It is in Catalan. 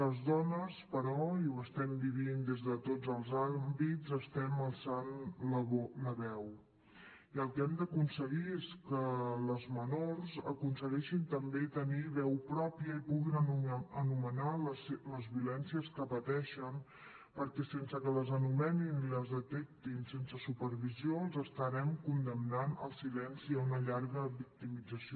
les dones però i ho estem vivint des de tots els àmbits estem alçant la veu i el que hem d’aconseguir és que les menors aconsegueixen també tenir veu pròpia i puguin anomenar les violències que pateixen perquè sense que les anomenin i les detectin sense supervisió els estarem condemnant al silenci a una llarga victimització